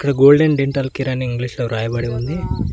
Golden dental Kiran అని ఇంగ్లీషులో రాయబడి ఉంది.